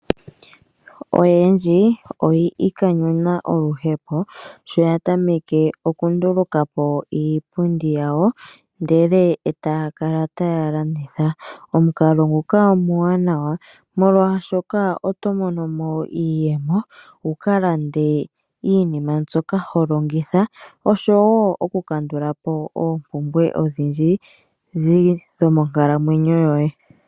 Oyendji oyi ikanyuna oluhepo sho ya tameke oku ndulukapo iipundi yawo ndele etaya kala taya landitha. Omukalo nguka omuwanawa molwaashoka oto monomo iiyemo wukalande iinima mbyoka ho longitha oshowo oku kandulapo oompumbwe odhindji dho monkalamwenyo yoye.